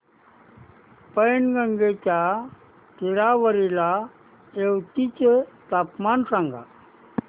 पैनगंगेच्या तीरावरील येवती चे तापमान सांगा